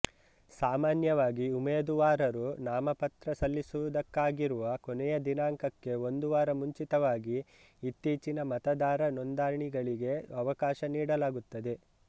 ಸಾಮಾನ್ಯವಾಗಿ ಉಮೇದುವಾರರು ನಾಮಪತ್ರ ಸಲ್ಲಿಸುವುದಕ್ಕಾಗಿರುವ ಕೊನೆಯ ದಿನಾಂಕಕ್ಕೆ ಒಂದು ವಾರ ಮುಂಚಿತವಾಗಿ ಇತ್ತೀಚಿನ ಮತದಾರ ನೋಂದಣಿಗಳಿಗೆ ಅವಕಾಶ ನೀಡಲಾಗುತ್ತದೆ